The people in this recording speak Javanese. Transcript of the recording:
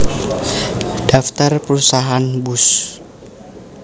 Daftar Perusahaan Bus